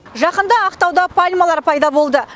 жақында ақтауда пальмалар пайда болды